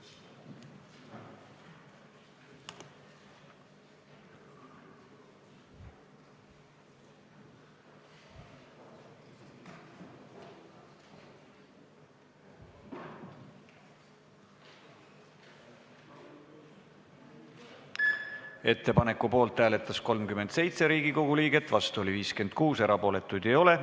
Hääletustulemused Ettepaneku poolt hääletas 37 Riigikogu liiget, vastu oli 56, erapooletuid ei ole.